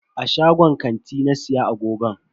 A shagon kanti na siya agogon.